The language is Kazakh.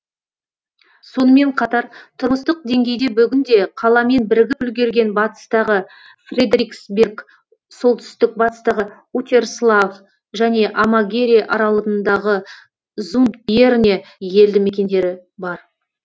сонымер қатар тұрмыстық деңгейде бүгінде қаламен бірігіп үлгерген батыстағы фредериксберг солтүстік батыстағы утерслав және амагере аралындағы зундбьерне елді мекендері бар